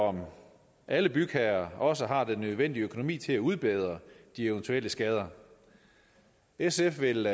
om alle bygherrer også har den nødvendige økonomi til at udbedre de eventuelle skader sf vil